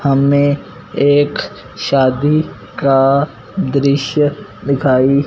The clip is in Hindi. हमें एक शादी का दृश्य दिखाई--